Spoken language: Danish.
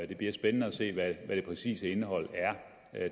det bliver spændende at se hvad det præcise indhold er